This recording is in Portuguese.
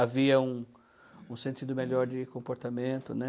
Havia um um sentido melhor de comportamento, né?